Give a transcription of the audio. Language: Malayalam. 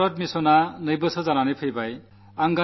സ്വച്ഛഭാരത് മിഷൻ തുടങ്ങിയിട്ട് രണ്ടു വർഷമാകുകയാണ്